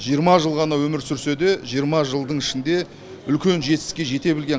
жиырма жыл ғана өмір сүрсе де жиырма жылдың ішінде үлкен жетістікке жете білген